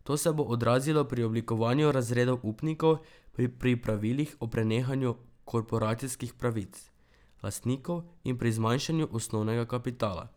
To se bo odrazilo pri oblikovanju razredov upnikov, pri pravilih o prenehanju korporacijskih pravic lastnikov in pri zmanjšanju osnovnega kapitala.